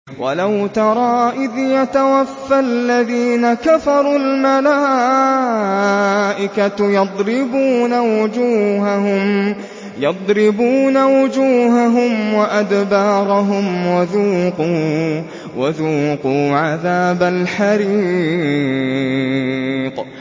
وَلَوْ تَرَىٰ إِذْ يَتَوَفَّى الَّذِينَ كَفَرُوا ۙ الْمَلَائِكَةُ يَضْرِبُونَ وُجُوهَهُمْ وَأَدْبَارَهُمْ وَذُوقُوا عَذَابَ الْحَرِيقِ